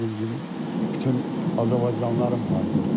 Bayaq dediyim kimi, bütün azərbaycanlıların faciəsi.